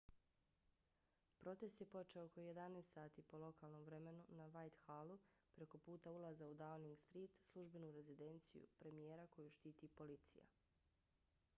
protest je počeo oko 11:00 sati po lokalnom vremenu utc+1 na whitehallu preko puta ulaza u downing street službenu rezidenciju premijera koju štiti policija